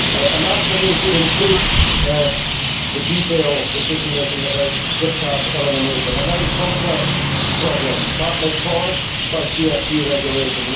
And that for me should include the detailed decision making about discard elimination, a very complex problem partly caused by CFP regulation.